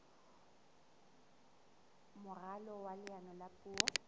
moralo wa leano la puo